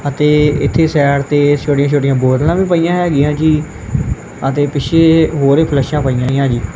ਅਤੇ ਇੱਥੇ ਸਾਈਡ ਤੇ ਛੋਟੀਆਂ ਛੋਟੀਆਂ ਬੋਤਲਾਂ ਵੀ ਪਈਆਂ ਹੈਗੀਆਂ ਜੀ ਅਤੇ ਪਿੱਛੇ ਹੋਰ ਇਹ ਫਲੈਸ਼ਾਂ ਬਈਆਂ ਹੋਈਆਂ ਜੀ।